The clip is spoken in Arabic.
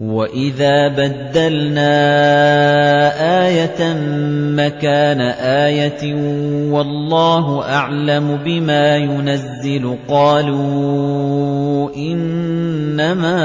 وَإِذَا بَدَّلْنَا آيَةً مَّكَانَ آيَةٍ ۙ وَاللَّهُ أَعْلَمُ بِمَا يُنَزِّلُ قَالُوا إِنَّمَا